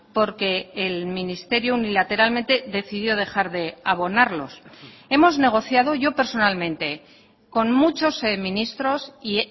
porque el ministerio unilateralmente decidió dejar de abonarlos hemos negociado yo personalmente con muchos ministros y